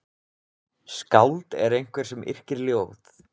Skáld er einhver sem yrkir ljóð.